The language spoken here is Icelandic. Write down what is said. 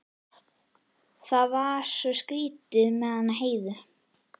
Það var svo skrýtið með hana Heiðu.